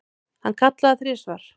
Hann kallaði þrisvar.